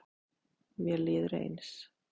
Mér líður eins.